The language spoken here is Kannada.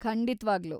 ಖಂಡಿತ್ವಾಗ್ಲೂ!